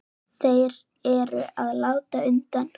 Þeir eru að láta undan.